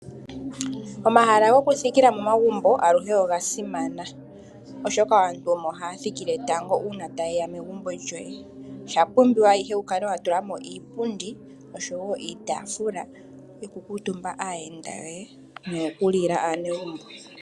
Omahala gokuthikila momagumbo aluhe oga simana, oshoka aantu omo haya thikile tango uuna taye ya megumbo lyoye. Osha pumbiwa ihe wu kale wa tula mo iipundi, osho wo iitaafula yokukuutumba aayenda yoye noyokulila aanegumbo.